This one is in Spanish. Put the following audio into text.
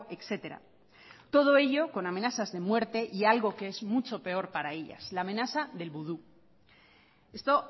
etcétera todo ello con amenazas de muerte y algo que es mucho peor para ellas la amenaza del vudú esto